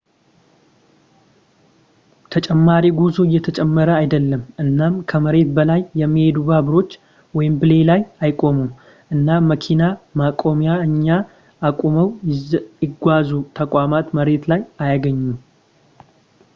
ተጨማሪ ጉዞ እየተጨመረ አይደለም እናም ከመሬት በላይ የሚሄዱ ባቡሮች ዌምብሌይ ላይ አይቆሙም እናም መኪና ማቆሚያ እኛ አቁመው-ይጓዙ ተቋማት መሬት ላይ አይገኙም